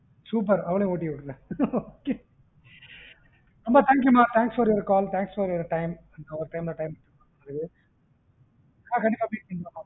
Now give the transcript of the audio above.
super அவளையும் விட்டுருங்க okay அம்மா thank you ம thanks for your call thanks for your time கண்டிப்பாபே meeting பண்ணலாம்